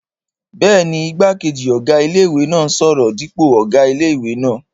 Bẹ́ẹ̀ni, igbákejì ọ̀gá ilé-ìwé náà n sọ̀rọ̀ dípò ọ̀gá ilé-ìwé náà